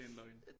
Det er en løgn